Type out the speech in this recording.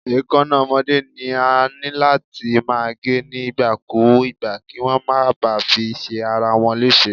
Èkáná ọmọdé ni a níláti máa gé ní ìgbà kú ìgbà, kíwón máa ba fi ṣe ara wọn léṣe.